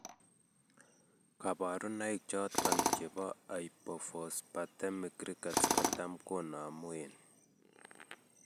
Kabarunaik choton chebo hypophosphatemic rickets kotam konamu en